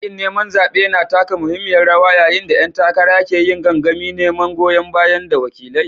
Yaƙin neman zaɓe na taka muhimmiyar rawa yayin da ƴan takara ke yin gangamin neman goyon baya daga wakilai.